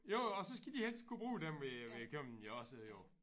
Jo og så skal de helst kunne bruge dem ved ved købmanden jo også jo